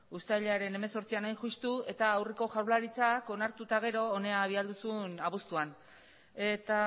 uztailaren hemezortzian hain justu eta aurreko jaurlaritzak onartu eta gero hona bidali zuen abuztuan eta